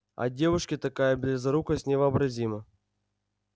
а девушке такая близорукость невообразима